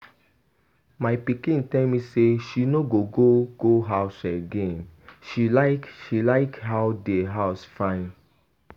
My pikin tell me say she no go go house again. She like how their house fine.